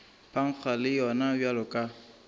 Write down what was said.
phankga le yona bjalo ka